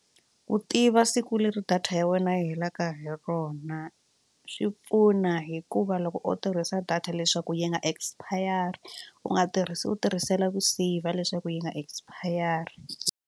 Ku tiva siku leri data ya wena yi helaka hi rona swi pfuna hikuva loko u tirhisa data leswaku yi nga expire u nga tirhisi u tirhisela ku saver leswaku yi nga expire.